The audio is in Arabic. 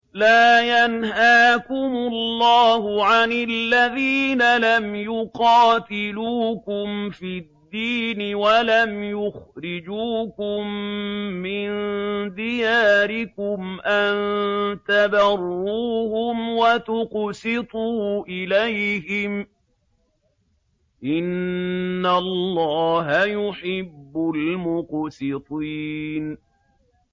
لَّا يَنْهَاكُمُ اللَّهُ عَنِ الَّذِينَ لَمْ يُقَاتِلُوكُمْ فِي الدِّينِ وَلَمْ يُخْرِجُوكُم مِّن دِيَارِكُمْ أَن تَبَرُّوهُمْ وَتُقْسِطُوا إِلَيْهِمْ ۚ إِنَّ اللَّهَ يُحِبُّ الْمُقْسِطِينَ